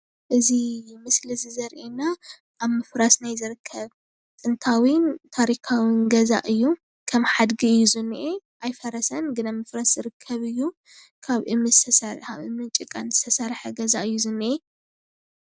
እዚ ምስሊ እዚ ዘርእየና ኣብ ምፍራስ ናይ ዝርከብ ጥንታውን ታሪካውን ገዛ እዩ ከም ሓድጊ እዩ ዝኒሀ ኣይፈረሰን ግን ኣብ ምፍራስ ዝርከብ እዩ ካብ እምንን ጭቃን ዝተሰርሐ ገዛ እዩ ዝኒሀ፡፡